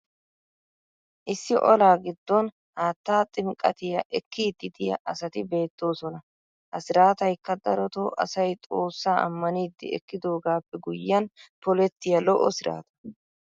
issi olaa giddon haattaa ximqqattiya ekkidi diya asati beetoosona. ha siraataykka darotoo asay xoossaa ammanidi ekkidoogaappe guyyiyan pollettiya lo'o siraata.